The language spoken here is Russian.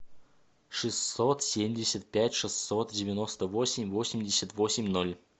шестьсот семьдесят пять шестьсот девяносто восемь восемьдесят восемь ноль